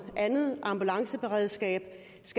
andet ambulanceberedskab